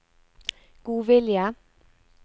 godvilje